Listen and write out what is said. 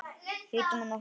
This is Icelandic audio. Lítum á nokkra.